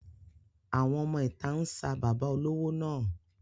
Àwọn ọmọ ìta ń sa bàbá olówó náà.